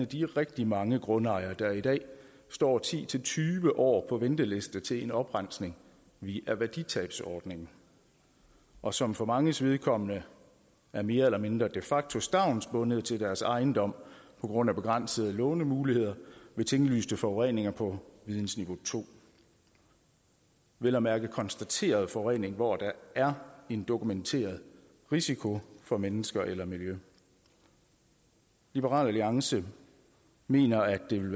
de rigtig mange grundejere der i dag står ti til tyve år på venteliste til en oprensning via værditabsordningen og som for manges vedkommende er mere eller mindre de facto stavnsbundet til deres ejendom på grund af begrænsede lånemuligheder ved tinglyste forureninger på vidensniveau to vel at mærke konstateret forurening hvor der er en dokumenteret risiko for mennesker eller miljø liberal alliance mener at det vil